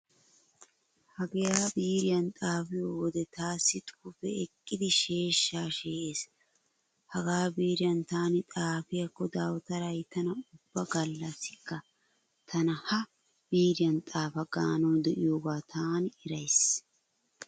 Hagaa biiriyan xaafiyo wode taassi xuufee eqqidi sheeshshaa shee'ees. Hagaa biiriyan taani xaafiyaakko dawutaray tana ubba gallassikka tana ha biiriyan xaafa gaanawu de'iyogaa taani erays.